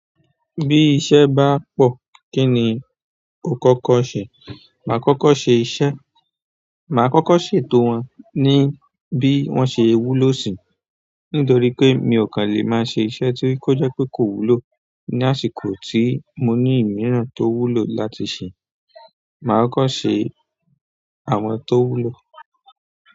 Bí iṣẹ́ bá pọ̀, kí ni o kọ́kọ́ ṣe? Mà á kọ́kọ́ ṣe iṣẹ́, mà á kọ́kọ́ ṣètò wọn ní bí wọ́n ṣe wúlò si, nítorí pé mi ò kàn lè máa ṣe iṣẹ́ tí ó jẹ́ pé kò wúlò ní àsìkò tí mo ní ìmíràn tó wúlò láti ṣe. Mà á kọ́kọ́ ṣe àwọn tó wúlò.